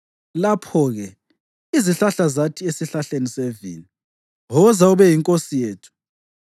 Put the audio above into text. Lapho-ke izihlahla zathi esihlahleni sevini, ‘Woza ube yinkosi yethu.’